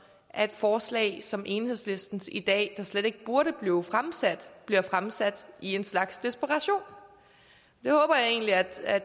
at forslag som enhedslistens i dag der slet ikke burde blive fremsat bliver fremsat i en slags desperation jeg håber egentlig at herre